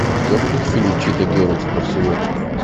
у тебя будет фильм чита герлз в барселоне